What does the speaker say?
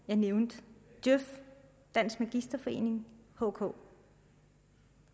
jeg nævnte djøf dansk magisterforening hk